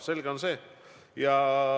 See on selge.